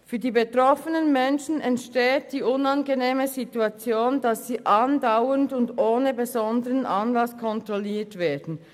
Für die betroffenen Menschen entsteht die unangenehme Situation, dass sie andauernd und ohne besonderen Anlass kontrolliert werden: